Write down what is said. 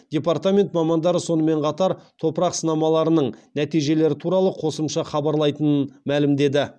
департамент мамандары сонымен қатар топырақ сынамаларының нәтижелері туралы қосымша хабарлайтынын мәлімдеді